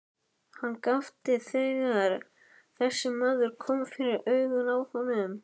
Hann gapti þegar þessi maður kom fyrir augun á honum.